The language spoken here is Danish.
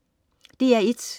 DR1: